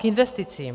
K investicím.